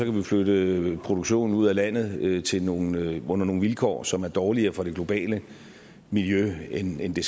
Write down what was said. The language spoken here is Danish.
jo flytte produktionen ud af landet til nogle vilkår nogle vilkår som er dårligere for det globale miljø end end det